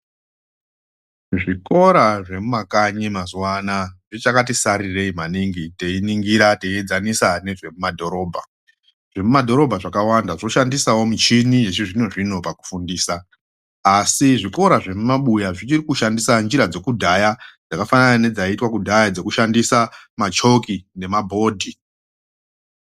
Zvikora zvemumakanyi mazuano aya zvichakatisarirei maningi teiningira teiedzanisa nezvemumadhorobha ,zvemumadhorobha zvakawanda zvoshandiasawo michini yechizvino zvino pakufundisa asi zvikora zvemumabuya zvichiri kushandisa njira dzekudhaya dzakafanana nedzaiitwa kudhaya dzekushandisa machoki nemabhodhi.